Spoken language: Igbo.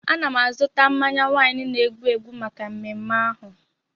Ana m azụta mmanya waịnị na-egbu egbu maka mmeme ahụ.